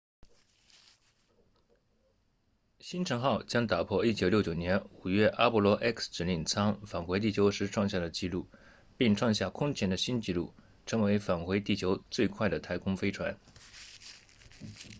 星尘号将打破1969年5月阿波罗 x 指令舱返回地球时创下的纪录并创下空前的新纪录成为返回地球最快的太空飞船